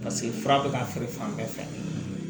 Paseke fura bɛ ka feere fan bɛɛ fɛ